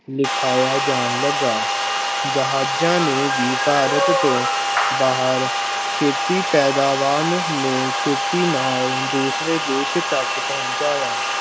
ਲਿਖਾਇਆ ਜਾਣ ਲੱਗਾ, ਜਹਾਜ਼ਾਂ ਨੇ ਵੀ ਭਾਰਤ ਤੋਂ ਬਾਹਰ ਖੇਤੀ ਪੈਦਾਵਾਰ ਨੂੰ ਖੇਤੀ ਨਾਲ ਦੂਸਰੇ ਦੇਸ ਤੱਕ ਪਹੁੰਚਾਇਆ।